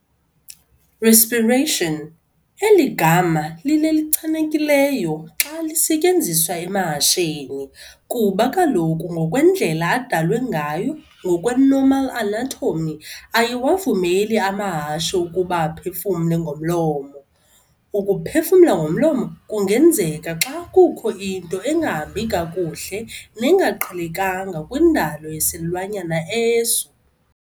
Respiration. Eli gama lilelichanekileyo xa lisetyenziswa emahasheni, kuba kaloku ngokwendlela adalwe ngayo, ngokwe-normal anatomy, ayiwavumeli amahashe ukuba aphefumle ngomlomo. Ukuphefumla ngomlomo kungenzeka xa kukho into engahambi kakuhle nengaqhelekanga kwindalo yesilwanyana eso.